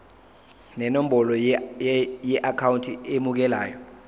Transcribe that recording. nenombolo yeakhawunti emukelayo